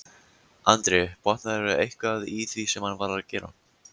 Andri: Botnaðirðu eitthvað í því sem hann var að gera?